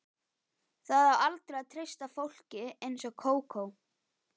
Það á aldrei að treysta fólki eins og Kókó.